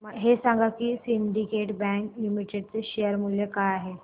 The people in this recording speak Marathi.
हे सांगा की सिंडीकेट बँक लिमिटेड चे शेअर मूल्य काय आहे